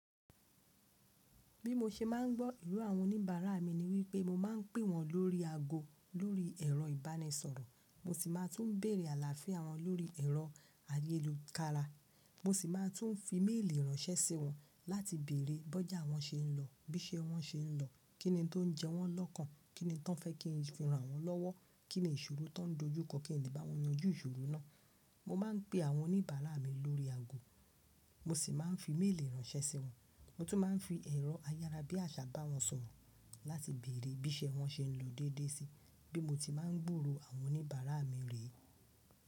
Bí mo ṣe máà ń gbọ́ ìró àwọn oníbàárà mi ni wípé mo máa ń pè wọ́n lórí ago lórí ẹ̀rọ ìbánisọ̀rọ̀, mo sì máa tún bẹ̀rẹ̀ àlàáfíà wọn lórí ẹ̀rọ ayélukára, mo sì máa tún fi méèlì ránṣẹ́ sí wọn láti bèrè bójà wọ́n ṣe ń lọ, bí ṣe wọ́n ṣe ń lọ, kíni tó ń jẹ wọ́n lọ́kàn, kíni tí wọ́n fẹ́ kí n fi ran wọ́n lọ́wọ́, kíni ìṣòro tó ń dojúkọ kí n lè bá wọn yanjú ìṣòro náà. Mo máa ń pe àwọn oníbàárà mi lórí ago, mo sì máa ń fi méèlì ránṣẹ́ sí wọn. Mo tún máa ń fi ẹ̀rọ ayárabíàṣá bá wọn sọ̀rọ̀ láti bèrè bí ṣe wọ́n ṣe ń lọ déédé síi. Bí mo ti máa ń gburò àwọn oníbàárà mi rẹ.